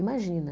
Imagina.